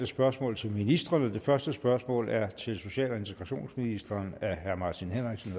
spørgsmål til ministrene det første spørgsmål er til social og integrationsministeren af herre martin henriksen